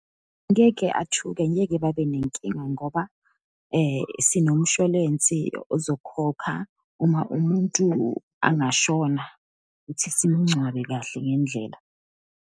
Ngeke athuke, ngeke babenenkinga, ngoba sinomshwalensi ozokhokha uma umuntu angashona, ukuthi simngcwabe kahle ngendlela.